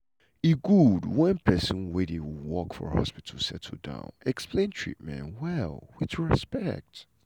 e good wen pesin wey dey work for hospital settle down explain treatment well with respect.